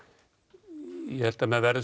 ég held að menn verði